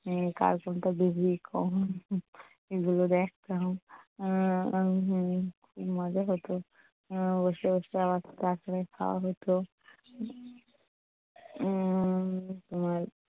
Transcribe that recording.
উম কার কোনটা বেশি কম সেগুলো দেখতাম উম উম খুব মজা হতো উম বসে বসে আবার খাওয়া হতো উম